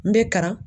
N bɛ kara